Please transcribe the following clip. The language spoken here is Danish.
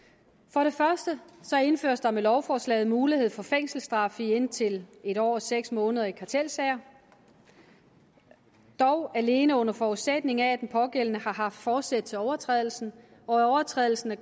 for det første indføres der med lovforslaget mulighed for fængselsstraf i indtil en år og seks måneder i kartelsager dog alene under forudsætning af at den pågældende har haft forsæt til overtrædelsen og at overtrædelsen er